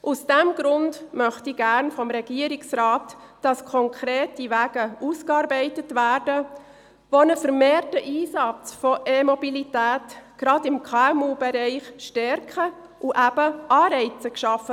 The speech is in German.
Aus diesem Grund möchte ich gerne vom Regierungsrat, dass konkrete Wege ausgearbeitet werden, die einen vermehrten Einsatz von Elektromobilität gerade im KMU-Bereich stärken und Anreize schaffen.